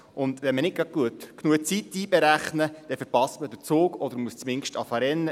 Wenn man nicht genügend Zeit einrechnet, verpasst man den Zug oder muss zumindest rennen.